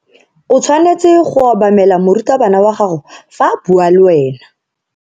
O tshwanetse go obamela morutabana wa gago fa a bua le wena.